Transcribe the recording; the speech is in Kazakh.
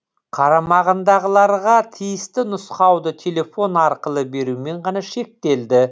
қарамағындағыларға тиісті нұсқауды телефон арқылы берумен ғана шектелді